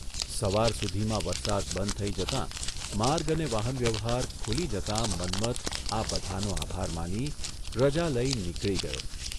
સવાર સુધીમાં વરસાદ બંથ થઇ જતા માર્ગ અને વાહનવ્યવહાર ખુલી જતાં મન્મથ આ બધાંનો આભાર માની, રજા લઇ નીકળી ગયો.